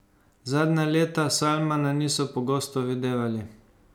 Zadnja leta Salmana niso pogosto videvali.